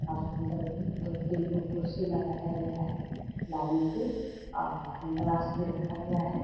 और सुन्दर भी दो तीन गो कुर्सी भी लगाया गया है लाइन से और हैण्डवाश भी रखा गया है।